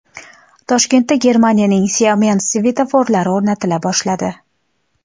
Toshkentda Germaniyaning Siemens svetoforlari o‘rnatila boshladi.